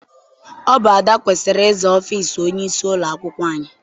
Ọ bụ Ada kwesịrị ịza ọfịịsi onyeisi ụlọakwụkwọ anyị.